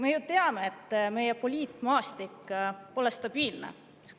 Me ju teame, et meie poliitmaastik pole stabiilne.